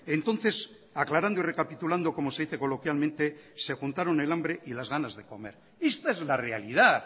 entonces aclarando y recapitulando como se dice coloquialmente se juntaron el hambre y las ganas de comer esta es la realidad